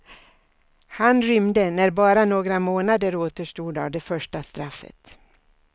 Han rymde när bara några månader återstod av det första straffet.